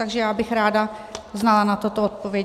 Takže já bych ráda znala na toto odpověď.